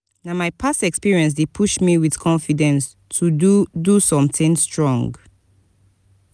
na my past experience dey push me with confidence to do do something strong.